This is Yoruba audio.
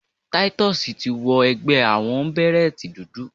Titus ti wọ ẹgbẹ́ àwọnbèrẹ́tì dúdú.